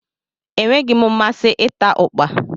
Enweghị m mmasị ịta ukpa